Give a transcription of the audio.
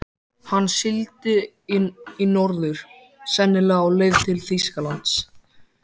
Hann sigldi í norður, sennilega á leið til Þýskalands.